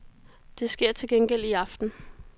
Det sker til gengæld i aften.